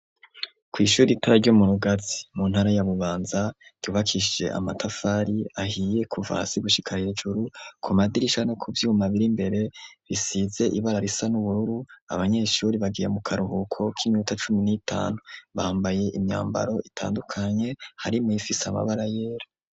Kw'ishure ritoya ryo mu Rugazi mu ntara ya Bubanza ryubakishije amatafari ahiye kuva hasi gushika hejuru ku madirisha no ku vyuma biri mbere risize ibara risa n'ubururu abanyeshure bagiye mu karuhuko k'iminota cumi n'itanu bambaye imyambaro itandukanye harimwo iyifise amabara yera.